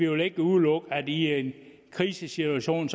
vil udelukke at man i en krisesituation